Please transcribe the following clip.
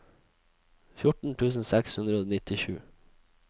fjorten tusen seks hundre og nittisju